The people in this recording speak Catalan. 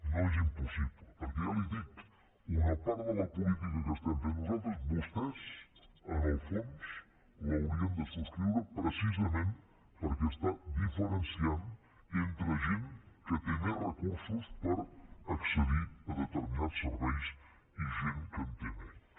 no és impossible perquè ja li ho dic una part de la política que estem fent nosaltres vostès en el fons l’haurien de subscriure precisament perquè està diferenciant entre gent que té més recursos per accedir a determinats serveis i gent que en té menys